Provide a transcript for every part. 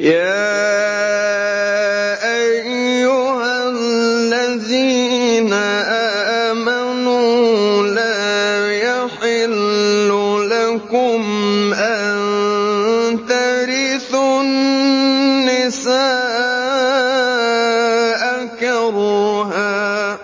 يَا أَيُّهَا الَّذِينَ آمَنُوا لَا يَحِلُّ لَكُمْ أَن تَرِثُوا النِّسَاءَ كَرْهًا ۖ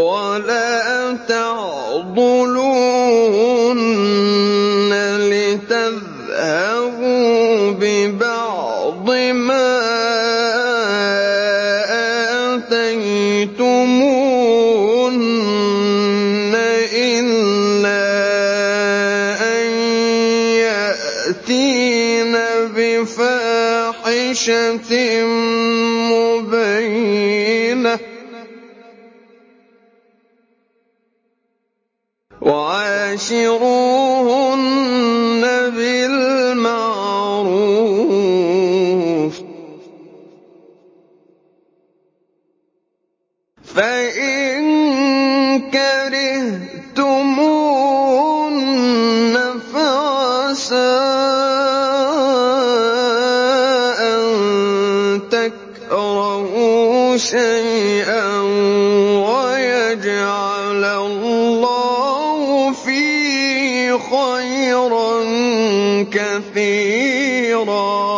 وَلَا تَعْضُلُوهُنَّ لِتَذْهَبُوا بِبَعْضِ مَا آتَيْتُمُوهُنَّ إِلَّا أَن يَأْتِينَ بِفَاحِشَةٍ مُّبَيِّنَةٍ ۚ وَعَاشِرُوهُنَّ بِالْمَعْرُوفِ ۚ فَإِن كَرِهْتُمُوهُنَّ فَعَسَىٰ أَن تَكْرَهُوا شَيْئًا وَيَجْعَلَ اللَّهُ فِيهِ خَيْرًا كَثِيرًا